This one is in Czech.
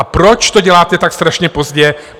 A proč to děláte tak strašně pozdě?